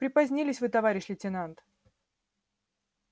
припозднились вы товарищ лейтенант